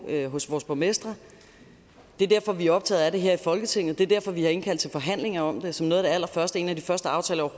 hos vores borgmestre det er derfor vi er optaget af det her i folketinget det er derfor vi har indkaldt til forhandlinger om det som noget af det allerførste en af de første aftaler